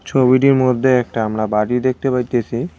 ছবিটির মধ্যে একটা আমরা বাড়ি দেখতে পাইতেসি।